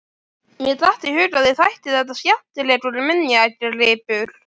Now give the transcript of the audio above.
Mér datt í hug að þér þætti þetta skemmtilegur minjagripur!